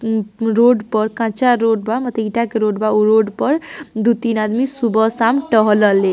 ऊ रोड पर काचा रोड बा मने ईटा के रोड बा उह रोड पर दो तीन अदिमी सुबह शाम टहल ले ।